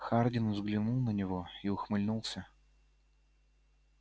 хардин взглянул на него и ухмыльнулся